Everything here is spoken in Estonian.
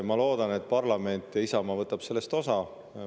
Ma loodan, et parlament ja Isamaa võtavad sellest osa.